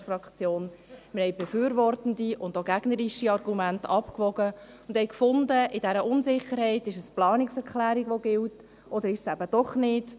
Wir wogen befürwortende und auch gegnerische Argumente ab und fanden, in dieser Unsicherheit ist es die Planungserklärung, die gilt – oder ist sie es eben doch nicht?